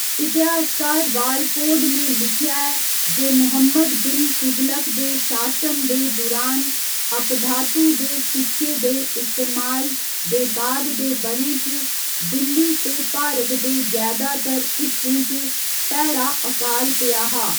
इतिहासकार वालफोर्ड ने लिखेआ ऐ जे मुहम्मद बिन तुगलक दे शासन दे दुरान, अपधातु दे सिक्के दे इस्तेमाल दे बा'द दे ब'रें च दिल्ली ते भारत दे जैदातर हिस्सें च भैड़ा अकाल पेआ हा।